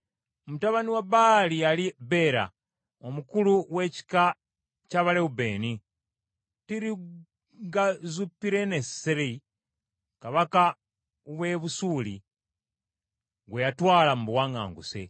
Mutabani wa Baali yali Beera, omukulu w’ekika ky’Abalewubeeni, Tirugazupiruneseri kabaka w’e Busuuli gwe yatwala mu buwaŋŋanguse.